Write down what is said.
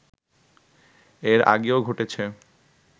এর আগেও ঘটেছে